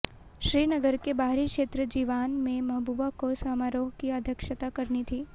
श्रीनगर के बाहरी क्षेत्र जीवान में महबूबा को समारोह की अध्यक्षता करनी थी